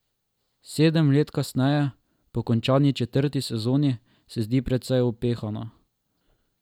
Sedem let kasneje, po končani četrti sezoni, se zdi precej upehana.